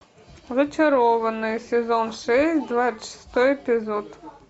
зачарованные сезон шесть двадцать шестой эпизод